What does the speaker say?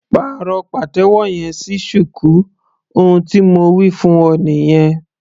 Pàrọ̀ pàtẹ́wọ́ yẹn sí shuku ohun tí mo wí fún ọ nìyẹn.